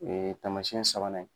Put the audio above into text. taamasɛn sabanan ye.